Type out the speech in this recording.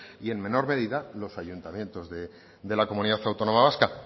y en menor medida los ayuntamientos de la comunidad autónoma vasca